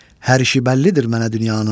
Hər işi bəllidir mənə dünyanın.